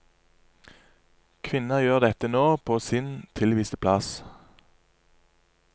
Kvinner gjør dette nå, på sin tilviste plass.